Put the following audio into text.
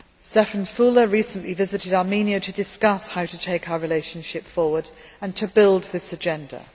Stefan Füle recently visited Armenia to discuss how to take our relationship forward and to build this agenda.